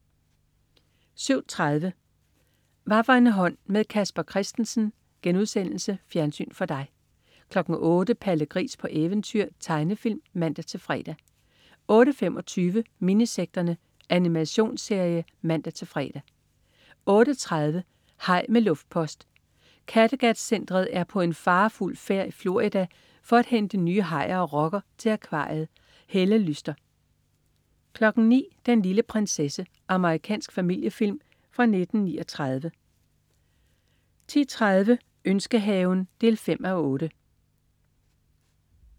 07.30 Hvaffor en hånd med Casper Christensen.* Fjernsyn for dig 08.00 Palle Gris på eventyr. Tegnefilm (man-fre) 08.25 Minisekterne. Animationsserie (man-fre) 08.30 Haj med luftpost. Kattegat-centret er på en farefuld færd i Florida for at hente nye hajer og rokker til akvariet. Helle Lyster 09.00 Den lille prinsesse. Amerikansk familiefilm fra 1939 10.30 Ønskehaven 5:8